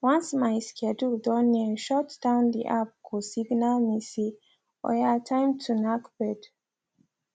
once my schedule don near shutdown the app go signal me say oya time to knack bed